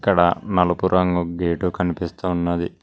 ఇక్కడ నలుపు రంగు గేటు కనిపిస్తూ ఉన్నది.